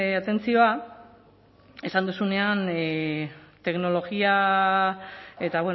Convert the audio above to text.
atentzioa esan duzunean teknologia eta